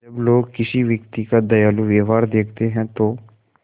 जब लोग किसी व्यक्ति का दयालु व्यवहार देखते हैं तो